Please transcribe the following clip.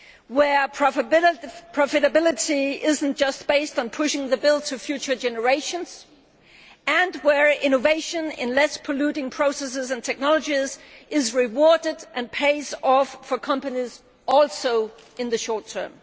where profitability is not just based on pushing the bill onto future generations, and where innovation in less polluting processes and technologies is rewarded and pays off for companies, also in the short term.